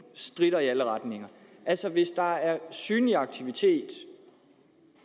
stritter i alle retninger altså hvis der er synlig aktivitet